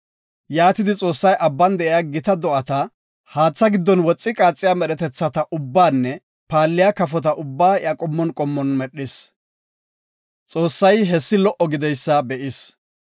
Yaatidi Xoossay abban de7iya gita do7ata, haatha giddon woxi qaaxiya medhetethata ubbaanne paalliya kafota ubbaa iya qommon qommon medhis. Xoossay hessi lo77o gididaysa be7is.